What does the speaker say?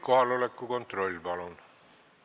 Kohaloleku kontroll, palun!